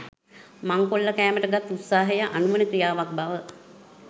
මංකොල්ල කෑමට ගත් උත්සාහය අනුවණ ක්‍රියාවක් බව